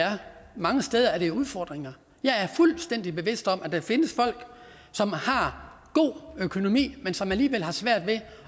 er mange steder er det jo udfordringer jeg er fuldstændig bevidst om at der findes folk som har god økonomi men som alligevel har svært ved